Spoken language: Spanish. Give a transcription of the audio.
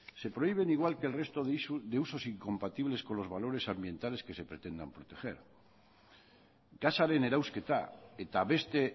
se prohíben igual que el resto de usos incompatibles con los valores ambientales que se pretendan proteger gasaren erauzketa eta beste